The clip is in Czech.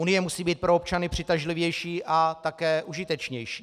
Unie musí být pro občany přitažlivější a také užitečnější.